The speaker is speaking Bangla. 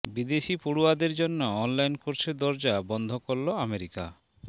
বিদেশি পড়ুয়াদের জন্য অনলাইন কোর্সের দরজা বন্ধ করল আমেরিকা